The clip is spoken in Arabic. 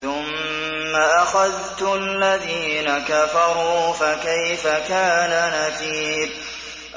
ثُمَّ أَخَذْتُ الَّذِينَ كَفَرُوا ۖ فَكَيْفَ كَانَ نَكِيرِ